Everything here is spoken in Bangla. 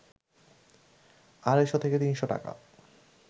আড়াইশ থেকে ৩শ টাকা